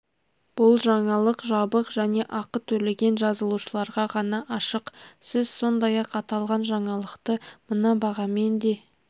бұл жаңалық жабық және ақы төлеген жазылушыларға ғана ашық сіз сондай-ақ аталған жаңалықты мына бағамен де